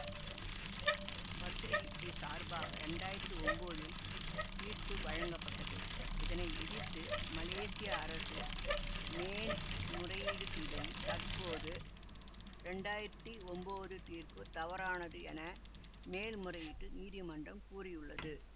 பத்திரிகைக்கு சார்பாக இரண்டாயிரத்தி ஒம்போதில் தீர்ப்பு வழங்கப்பட்டது இதனை எதிர்த்து மலேசிய அரசு மேன்முறையீடு செய்ததில் தற்போது இரண்டாயிரத்தி ஒம்போது தீர்ப்பு தவறானது என மேன்முறையீட்டு நீதிமன்றம் கூறியுள்ளது